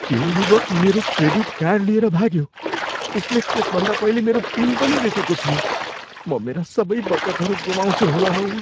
त्यो युवक मेरो क्रेडिट कार्ड लिएर भाग्यो। उसले त्यसभन्दा पहिले मेरो पिन पनि देखेको थियो। म मेरा सबै बचतहरू गुमाउँछु होला हौ।